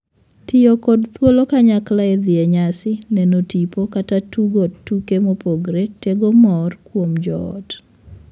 Tiyo kod thuolo kanyakla e dhi e nyasi, neno tipo, kata tugo tuke mopogore tego mor kuom joot.